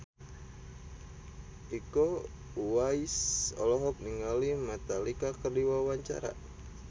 Iko Uwais olohok ningali Metallica keur diwawancara